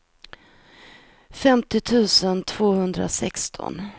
femtio tusen tvåhundrasexton